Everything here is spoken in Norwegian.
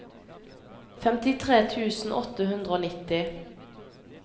femtitre tusen åtte hundre og nitti